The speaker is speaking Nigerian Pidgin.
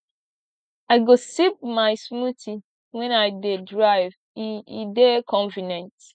i go sip my smoothie wen i dey drive e e dey convenient